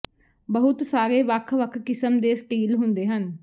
ਬਹੁਤ ਸਾਰੇ ਵੱਖ ਵੱਖ ਕਿਸਮ ਦੇ ਸਟੀਲ ਹੁੰਦੇ ਹਨ